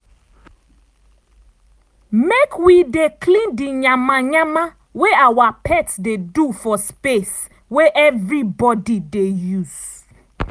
make wi dey clean di yama yama wey awa pets dey do for space wey everybody dey use.